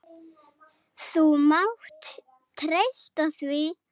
Þú mátt treysta því.